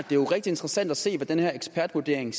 det er rigtig interessant at se hvad den her ekspertvurdering